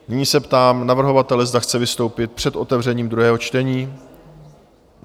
Nyní se ptám navrhovatele, zda chce vystoupit před otevřením druhého čtení?